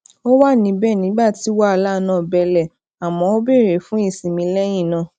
ó wà níbẹ nígbà tí wàhálà náà bele àmọ ó bere fún ìsinmi lẹyìn náà